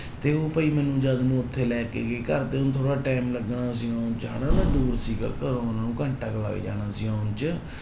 ਤੇ ਉਹ ਭਾਈ ਮੈਨੂੰ ਜਦ ਮੈਨੂੰ ਉੱਥੇ ਲੈ ਕੇ ਗਏ ਘਰਦਿਆਂ ਨੂੰ ਥੋੜ੍ਹਾ time ਲੱਗਣਾ ਸੀ ਆਉਣ ਚ ਹਨਾ ਮੈਂ ਦੂਰ ਸੀਗਾ ਘਰੋਂ ਉਹਨਾਂ ਨੂੰ ਘੰਟਾ ਕੁ ਲੱਗ ਜਾਣਾ ਸੀ ਆਉਣ ਚ।